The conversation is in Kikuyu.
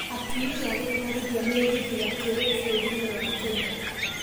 Atumia gũtwarithia mĩgithi ya kĩrĩu bũrũrinĩ wa Kenya.